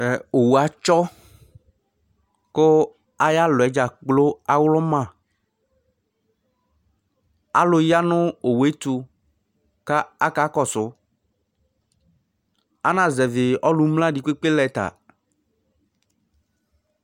Owu atsɔ, ƙʋ ayalɔɛ ɖzaƙplo aɣlɔma, alʋ ƴa nʋ owue ɛtʋ kʋ akakɔsʋAnazɛvɩ ɔlʋ mlǝ ɖɩƙpeƙpe lɛ ta